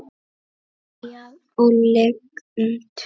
Skýjað og lygnt.